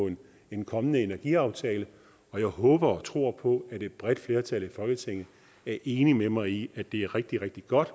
en kommende energiaftale og jeg håber og tror på at et bredt flertal i folketinget er enig med mig i at det er rigtig rigtig godt